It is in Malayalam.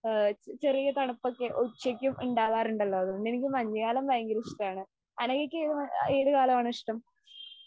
ആ ചെറിയ തണുപ്പൊക്കെ ഉച്ചക്കും ഉണ്ടാകാറുണ്ടല്ലോ? അതുകൊണ്ട് എനിക്ക് മഞ്ഞുകാലം ഭയങ്കര ഇഷ്ടമാണ്. അനഘക്ക് ഏത് ആ ഏത് കാലമാണ് ഇഷ്ടം?